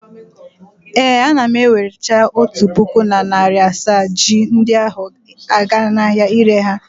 Ee, ana m ewerecha otu puku na narị asaa ji ndi ahụ aga n'ahịa ịre ha.